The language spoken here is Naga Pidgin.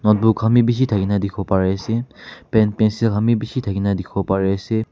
notebook kanbe beshi takina tekibo pare ase pen pencil kanbe beshi takina tekibo pare ase.